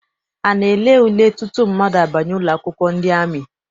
A na-ele ule tutu mmadụ abanye ụlọakwụkwọ ndị amị?